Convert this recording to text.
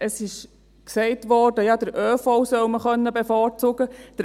Es wurde gesagt, man sollte den ÖV bevorzugen können.